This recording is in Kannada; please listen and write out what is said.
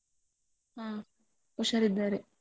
ಹ ಹುಷಾರಿದ್ದಾರೆ.